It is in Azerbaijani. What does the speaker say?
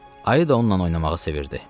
Ayı da onunla oynamağı sevirdi.